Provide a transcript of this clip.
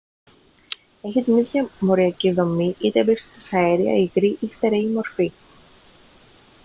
έχει την ίδια μοριακή δομή είτε βρίσκεται σε αέρια υγρή ή στέρεη μορφή